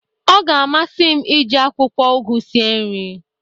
ọ ga-amasị m iji akwụkwọ ugu sie nri